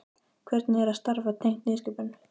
Hvernig er að starfa tengt nýsköpun?